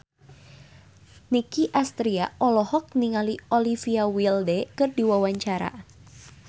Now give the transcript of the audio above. Nicky Astria olohok ningali Olivia Wilde keur diwawancara